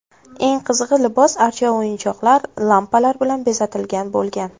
Eng qizig‘i libos archa o‘yinchoqlar, lampalar bilan bezatilgan bo‘lgan.